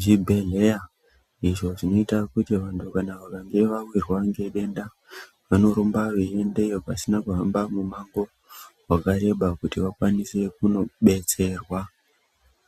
zvibhehleya izvo zvinoita kuti vantu kana vakange vawirwa ngedenda vanorumba veiendeyo pasina kuhamba mumango wakareba kuti vakwanise kunobetserwa.